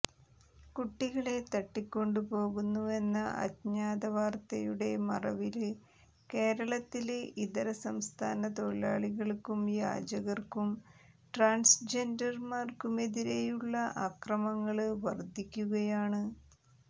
കുട്ടികളെ തട്ടിക്കൊണ്ടു പോകുന്നുവെന്ന അജ്ഞാത വാര്ത്തയുടെ മറവില് കേരളത്തില് ഇതരസംസ്ഥാന തൊഴിലാളികള്ക്കും യാചകര്ക്കും ട്രാന്സ്ജെന്ഡര്മാര്ക്കുമെതിരെയുള്ള ആക്രമണങ്ങള് വര്ധിക്കുകയാണ്